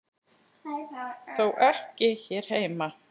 Þó ekki hér heima.